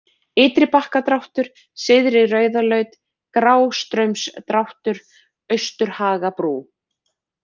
Ytribakkadráttur, Syðri-Rauðalaut, Grástraumsdráttur, Austurhagabrú